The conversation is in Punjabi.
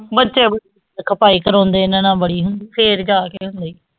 ਬੱਚੇ ਖਪਾਈ ਕਰਵਾਉਂਦੇ ਇਹਨਾਂ ਨਾਲ ਬੜੀ ਹੁੰਦੀ, ਫਿਰ ਜਾ ਕੇ ਹੁੰਦੇ